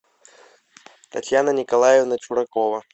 татьяна николаевна чуракова